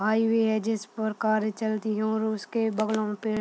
आइ हुए है जिस पर कारे चलती हैं और उसके बगलों पे --